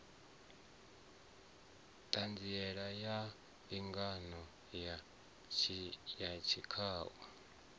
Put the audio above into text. ṱhanziela ya mbingano ya tshikhau